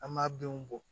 An b'a denw bɔ